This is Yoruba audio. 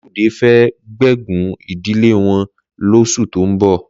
Lálùdé fẹ́ gbéégún ìdílé wọn lóṣù tó ń bọ̀.